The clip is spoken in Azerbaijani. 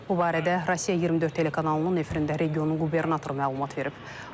Bu barədə Rusiya 24 telekanalının efirində regionun qubernatoru məlumat verib.